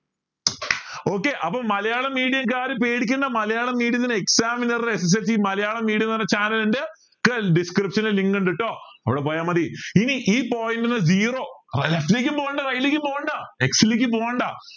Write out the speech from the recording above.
okay അപ്പോൾ Malayalam medium കാർ പേടിക്കണ്ട മലയാളം medium ത്തിന് മലയാളം medium എന്ന് പറഞ്ഞ channel ഉണ്ട് description link ഉണ്ട് കേട്ടോ അവിടെ പോയാ മതി ഇനി ഈ point zero left ലേക്കും പോവ്വാണ്ട right ലേക്കും പോവ്വാണ്ട ലേക്കും പോവ്വാണ്ട